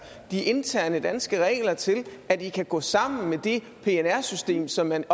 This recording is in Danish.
de interne danske regler til at de kan gå sammen med det pnr system som man